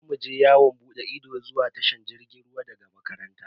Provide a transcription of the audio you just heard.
Za mu je yawon bude ido zuwa tashar jirgin ruwa daga makaranta.